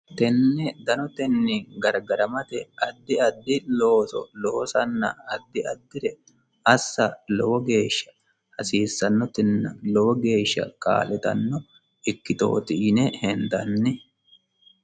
tnene danotenni gargaramate addi adfi looso loosanna addi addire assa lowo geeshsha hasiissannonna lowo geeshsha kaa'litanno ikkittooti yine hendanni